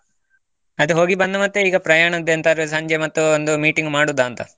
ಅಯ್ತು ಮತ್ತೆ ಹೋಗಿ ಬಂದು ಮತ್ತೆ ಈಗ ಪ್ರಯಾಣದ್ದು ಎಂತಾದ್ರೂ ಸಂಜೆ ಮತ್ತು ಒಂದು meeting ಮಾಡೋದಂತ?